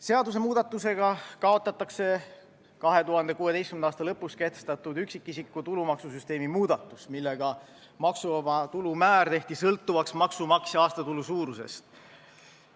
Seadusemuudatusega kaotatakse 2016. aasta lõpus kehtestatud üksikisiku tulumaksusüsteemi muudatus, millega maksuvaba tulu määr tehti sõltuvaks maksumaksja aastatulu suurusest.